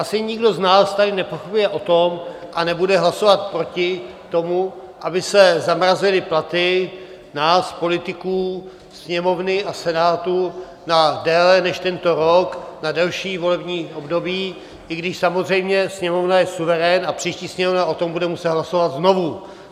Asi nikdo z nás tady nepochybuje o tom a nebude hlasovat proti tomu, aby se zamrazily platy nás politiků Sněmovny a Senátu na déle než tento rok, na delší volební období, i když samozřejmě Sněmovna je suverén a příští Sněmovna o tom bude muset hlasovat znovu.